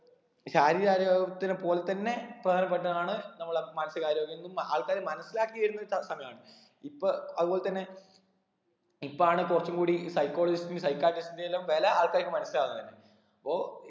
ശാരീരിക ആരോഗ്യത്തിന് പോലെ തന്നെ പ്രധാനപ്പെട്ടതാണ് നമ്മളെ മാനസിക ആരോഗ്യംന്ന് ആൾക്കാര് മനസ്സിലാക്കി വരുന്ന സ സമയാണ് ഇപ്പൊ അതുപോലെ തന്നെ ഇപ്പാണ് കുറച്ചും കൂടി psychologist psychiatrist ന്റെ എല്ലാം വില ആൾക്കാർക്ക് മനസ്സിലാവുന്നതന്നെ അപ്പൊ